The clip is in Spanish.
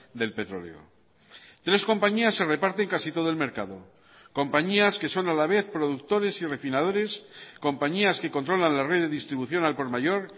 del petróleo tres compañías se reparten casi todo el mercado compañías que son a la vez productores y refinadores compañías que controlan la red de distribución al por mayor